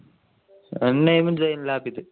എന്റെ name സൈൻ ലാബിത്